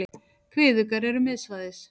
Kviðuggar eru miðsvæðis.